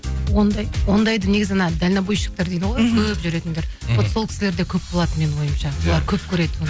ондайды негізі дальнобойщиктер дейді ғой мхм көп жүретіндер вот сол кісілерде көп болады менің ойымша солар көп көреді